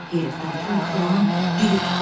Heyrətdən Poli xalanın dili tutuldu.